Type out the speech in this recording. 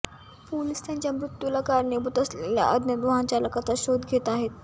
police त्याच्या मृत्यूला कारणीभूत असलेल्या अज्ञात वाहनचालकाचा शोध घेत आहेत